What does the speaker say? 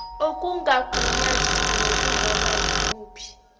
okungagunyaziwe kunoma yimuphi